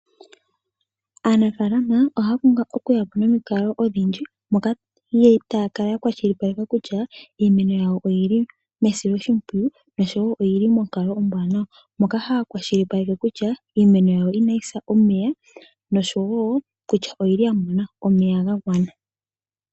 Aanafalama ohaya pumbwa okuyapo nomikalo odhindji moka taya kala ya kwashilipaleka kutya iinima yawo oyili mesiloshipwiyu oshowo monkalo ombwaanawa. Ohaya kwashilipaleke kutya iimeno yawo inayi sa komeya yo oya mona omeya gagwana nawa.